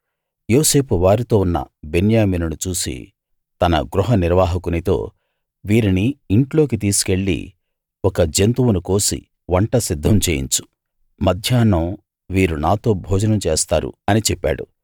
యోసేపు వారితో ఉన్న బెన్యామీనును చూసి తన గృహనిర్వాహకునితో వీరిని ఇంట్లోకి తీసికెళ్ళి ఒక జంతువును కోసి వంట సిద్ధం చేయించు మధ్యాహ్నం వీరు నాతో భోజనం చేస్తారు అని చెప్పాడు